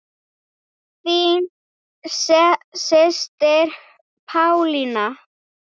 Þín systir Pálína.